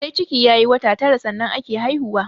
Sai ciki ya yi wata tara sannan ake haihuwa